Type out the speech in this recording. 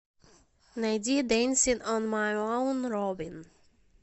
найди дэнсин он май оун робин